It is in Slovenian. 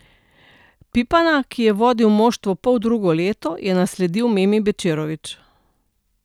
Pipana, ki je vodil moštvo poldrugo leto, je nasledil Memi Bečirovič.